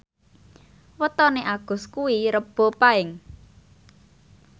wetone Agus kuwi Rebo Paing